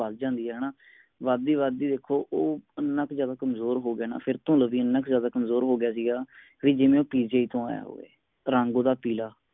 ਵੱਧਦੀ ਵੱਧਦੀ ਦੇਖੋ ਇਹਨਾਂ ਇਕ ਜ਼ਿਆਦਾ ਕਮਜ਼ੋਰ ਹੋਗਿਆ ਨਾ ਫੇਰ ਤੋਂ ਲਵੀ ਇਹਨਾਂ ਕ ਜ਼ਿਆਦਾ ਕਮਜ਼ੋਰ ਹੋਗਿਆ ਸੀਗਾ ਵੀ ਜਿਵੇ ਉਹ PGI ਤੋਂ ਆਯਾ ਹੋਵੇ ਰੰਗ ਓਹਦਾ ਪਿਲਾ